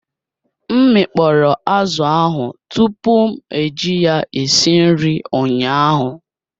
M mi kpọrọ azụ ahụ tupu m eji ya esi nri ụnyaahụ